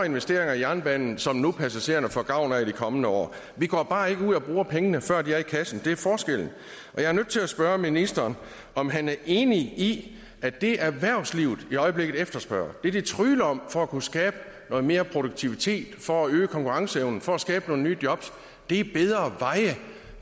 investeringer i jernbanen som passagererne nu får gavn af i de kommende år vi går bare ikke ud og bruger pengene før de er i kassen det er forskellen jeg er nødt til at spørge ministeren om han er enig i at det erhvervslivet i øjeblikket efterspørger det de trygler om for at kunne skabe noget mere produktivitet for at øge konkurrenceevnen for at skabe nogle nye jobs er bedre veje